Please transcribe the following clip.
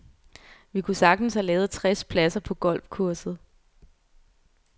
Vi kunne sagtens have lavet tres pladser på golfkurset.